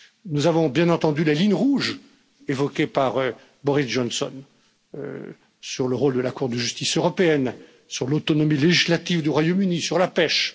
Nous avons bien entendu les lignes rouges évoquées par Boris Johnson sur le rôle de la Cour de justice européenne, sur l'autonomie législative du Royaume Uni, sur la pêche.